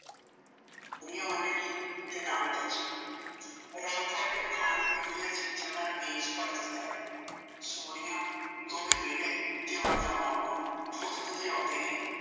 ਸੀ ਤੇ ਨਾਂ ਹੀ ਬੱਚੇ ਰਾਮਫਲ ਨੇ ਖਾਣ ਪੀਣ ਦੀਆਂ ਚੀਜ਼ਾਂ ਨਾਲ ਮੇਜ਼ ਭਰ ਦਿੱਤਾ ਏ ਸੋਨੀਆ ਦੋਵੇਂ ਬੇਟੇ ਟੇ ਓਹਨਾਂ ਦਾ ਮਾਮਾ ਫੁਦਕਦੇ ਆਉਂਦੇ ਨੇ